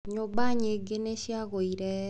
Nyũmba nyingĩ nĩ ciagoire.